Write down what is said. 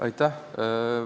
Aitäh!